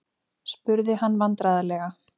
spurði hann vandræðalega.